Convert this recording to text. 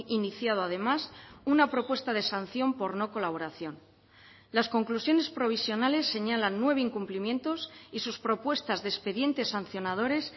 iniciado además una propuesta de sanción por no colaboración las conclusiones provisionales señalan nueve incumplimientos y sus propuestas de expedientes sancionadores